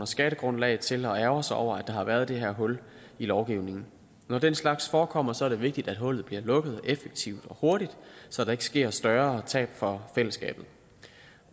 skattegrundlag til at ærgre sig over at der har været det her hul i lovgivningen når den slags forekommer er det vigtigt at hullet bliver lukket effektivt og hurtigt så der ikke sker større tab for fællesskabet